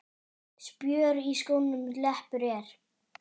Spjör í skónum leppur er.